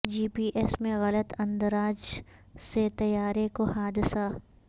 جی P S میں غلط اندراج سے طیارے کو حادثہ